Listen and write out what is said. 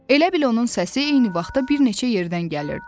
Elə bil onun səsi eyni vaxtda bir neçə yerdən gəlirdi.